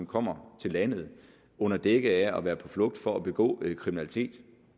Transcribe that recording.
kommer til landet under dække af at være på flugt for at begå kriminalitet